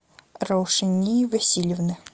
раушании васильевны